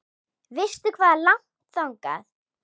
Veistu hvað er langt þangað?